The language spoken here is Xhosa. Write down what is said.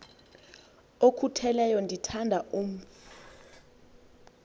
okhutheleyo ndithanda umf